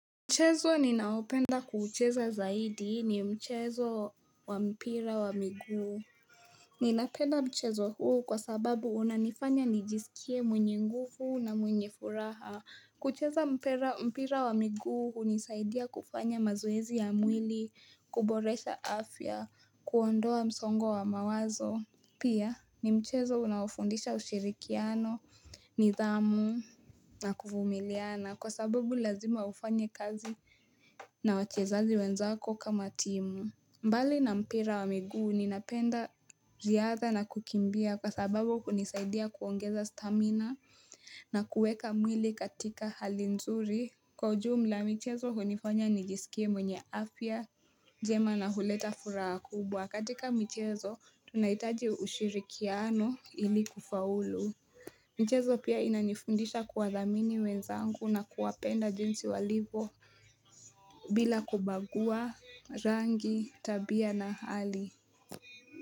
Mchezo ninaopenda kuucheza zaidi ni mchezo wa mpira wa miguu. Ninapenda mchezo huu kwa sababu unanifanya nijisikie mwenye nguvu na mwenye furaha. Kucheza mpira wa miguu hunisaidia kufanya mazoezi ya mwili, kuboresha afya, kuondoa msongo wa mawazo. Pia ni mchezo unaofundisha ushirikiano nidhamu na kuvumiliana kwa sababu lazima ufanye kazi. Na wachezaji wenzako kama timu. Mbali na mpira wa miguu ninapenda riyadha na kukimbia kwa sababu hunisaidia kuongeza stamina na kuweka mwili katika hali nzuri. Kwa ujumula michezo hunifanya nijisikie mwenye afya, njema na huleta furaha kubwa. Katika michezo tunahitaji ushirikiano ili kufaulu. Michezo pia inanifundisha kuwadhamini wenizangu na kuwapenda jinsi walivyo bila kubagua rangi tabia na hali.